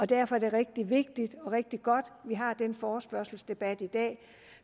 derfor er det rigtig vigtigt og rigtig godt vi har den forespørgselsdebat i dag